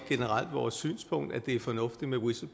forsøger